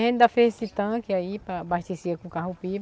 A gente ainda fez esse tanque aí para abastecer com